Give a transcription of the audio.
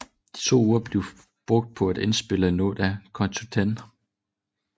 De to uger blev brugt på at indspille noget af Count to Ten